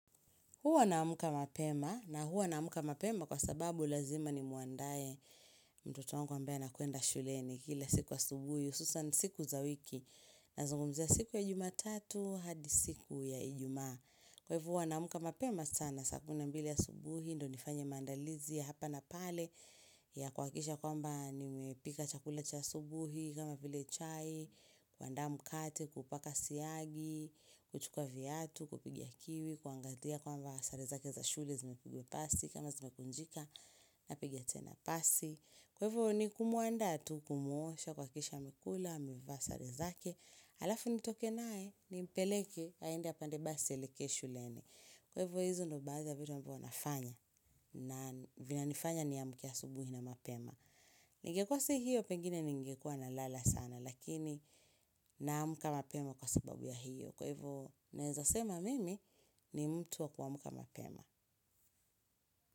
Huwa na amka mapema, na huwa a amka mapema kwa sababu lazima ni muandaye mtoto wangu ambaye ana kuenda shuleni kila siku asubuhi, ususan siku za wiki, na zungumzi ya siku ya juma tatu, hadi siku ya ijumaa Kwa hivu wanamuka mapema sana sakuna mbili ya subuhi, ndo nifanya mandalizi ya hapa na pale ya kwa kisha kwamba nimepika chakula cha subuhi, kama vile chai, kuanda mkate, kupaka siyagi, kuchukua viatu, kupigia kiwi Kuangatia kwamba sarezake za shule zimepigwe pasi, kama zimekunjika, napigia tena pasi Kwa hivu ni kumuanda tu kumuosha, kwa kisha amekula, amevaa sarezake alafu nitoke nae ni mpeleke haende ya pandebasi aelekeshu lene kwa hivyo hizu nubaza vitu ambu wanafanya na vina nifanya ni amukia subuhi na mapema ngekwasi hiyo pengine ngekwa na lala sana lakini naamka mapema kwa sababu ya hiyo kwa hivyo naezasema mimi ni mtu wa kuamuka mapema.